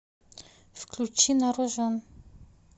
включи на рожон